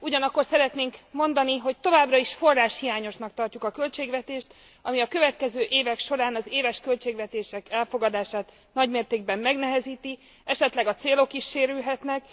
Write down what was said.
Ugyanakkor szeretnénk elmondani, hogy továbbra is forráshiányosnak tartjuk a költségvetést, ami a következő évek során az éves költségvetések elfogadását nagymértékben megnehezíti, esetleg a célok is sérülhetnek.